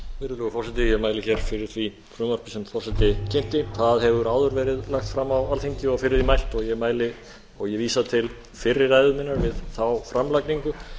virðulegur forseti ég mæli fyrir því frumvarpi sem forseti kynnti það hefur áður verið lagt fram á alþingi og fyrir því mælt og ég vísa til fyrri ræðu minnar við þá framlagningu